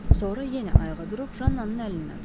Sonra yenə ayağa durub Jannanın əlindən tutdu.